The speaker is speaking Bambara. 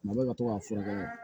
Mabɔ ka to ka furakɛ